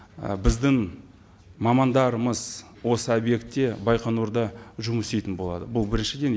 ы біздің мамандарымыз осы объектте байқоңырда жұмыс істейтін болады бұл біріншіден